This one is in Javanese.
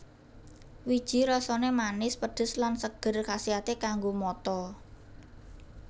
Wiji rasané manis pedes lan seger kasiaté kanggo mata